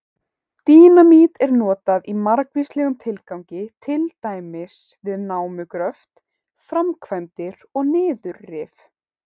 Dínamít er notað í margvíslegum tilgangi, til dæmis við námugröft, framkvæmdir og niðurrif.